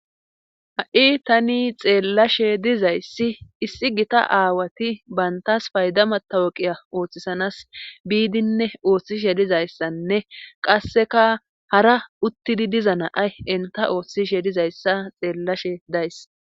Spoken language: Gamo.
Ha'i tani xeellashe dizayssi issi gita aawati bayntas paydamatawoqiya ooththisanas biidinne ooththishe dizayssanne qasseka hara uttidi diza naay enta ooththishe dizayssa xeellashe days.